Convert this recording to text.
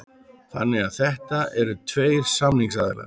Þannig að þetta eru tveir samningsaðilar